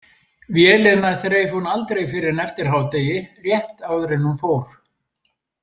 Vélina þreif hún aldrei fyrr en eftir hádegi, rétt áður en hún fór.